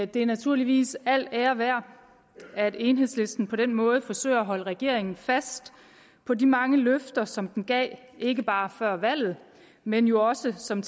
det er naturligvis al ære værd at enhedslisten på den måde forsøger at holde regeringen fast på de mange løfter som den gav ikke bare før valget men jo også som